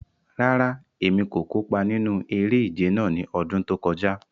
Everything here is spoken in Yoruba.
Rárá, Emi ko kopa ninu ere-ije náa ni ọdun to kọja